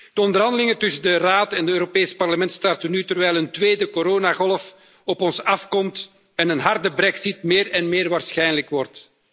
De onderhandelingen tussen de Raad en het Europees Parlement starten nu, terwijl een tweede coronagolf op ons afkomt en een harde brexit meer en meer waarschijnlijk wordt.